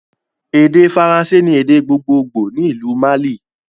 Èdè Faransé ni èdè gbogbogbo ni ìlú Mali